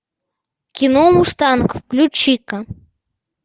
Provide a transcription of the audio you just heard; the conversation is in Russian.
кино мустанг включи ка